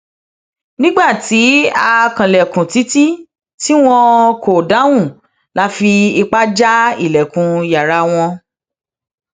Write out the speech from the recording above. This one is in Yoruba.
nígbà tí a kanlẹkùn títí tí wọn kò dáhùn la fi ipá já ilẹkùn yàrá wọn